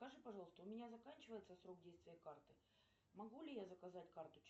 скажи пожалуйста у меня заканчивается срок действия карты могу ли я заказать карту